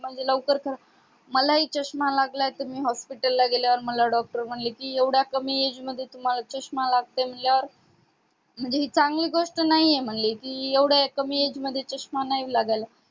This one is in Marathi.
म्हणजे लवकर तर मलाही चष्मा लागला आहे तर मी hospital ला गेल्यावर मला doctor म्हटले एवढ्या कमी age मध्ये तुम्हाला चष्मा लागते म्हणल्यावर म्हणजे ही चांगली गोष्ट नाहीये ना म्हणजे एवढ्या कमी age मध्ये चष्मा नाही लागायला पाहिजे.